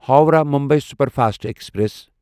Howrah Mumbai superfast express